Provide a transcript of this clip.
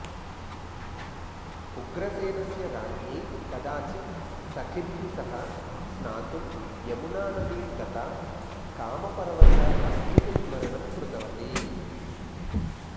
उग्रसेनस्य राज्ञी कदाचित् सखिभिः सह स्नातुं यमुनानदीं गता कामपरवशा पत्युः स्मरणं कृतवती